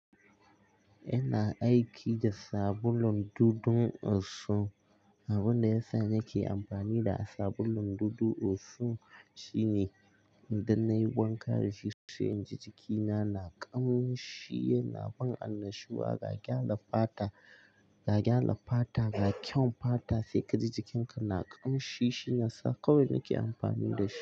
Ina aiki da sabulun dudu osun. Abunda ya sa nake amfani da sabulun dudu osun shine idon na yi wanka da shi sai in ji jiki na na ƙamshi yana bani annashuwa ga gyara fata, ga gyara fata, ga kyaun fata sai ka ji jikinka na ƙamshi shi ya sa kawai nake amfani da shi.